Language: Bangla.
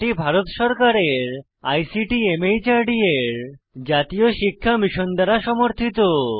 এটি ভারত সরকারের আইসিটি মাহর্দ এর জাতীয় সাক্ষরতা মিশন দ্বারা সমর্থিত